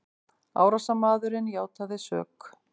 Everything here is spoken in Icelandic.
Árásarmaðurinn játaði sök